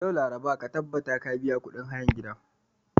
Yau, laraba, ka tabbata ka biya kudin hayan gidan.